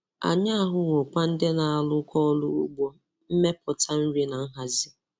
Anyị ahụwokwa ndị na-arụkọ ọrụ ugbo, mmepụta nri na nhazi.